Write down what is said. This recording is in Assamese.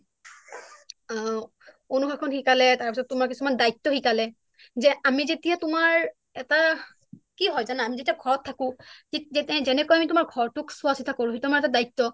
তেনেকৈ যেতিয়া আমি তাতে থাকিম কেম্প তাৰ মানে যোনটো তোমাৰ শিবিৰ কেন্দ্ৰ তাতে থাকিম তাতে থাকিলেও আমি কিছুমান তাৰ মানে তোমাৰ চোৱা চিতা কৰিব লাগে তেওঁলোকক তেওঁলোক আমাৰ এটা পৰিয়ালে হয় সৰু এটা পৰিয়াল পৰিয়াল হয় কাৰণ চোৱা